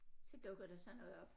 Så dukker der sådan noget op